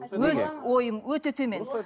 өз ойым өте төмен